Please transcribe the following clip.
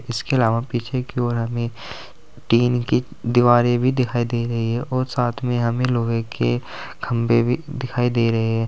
इसके अलावा पीछे की ओर हमें टीन की दिवारे भी दिखाई दे रही है और साथ में हमें लोहे के खंभे भी दिखाई दे रहे हैं।